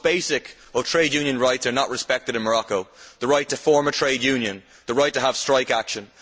The most basic trade union rights are not respected in Morocco the right to form a trade union and the right to take strike action.